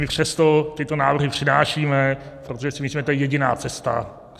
My přesto tyto návrhy přinášíme, protože si myslíme, že to je jediná cesta.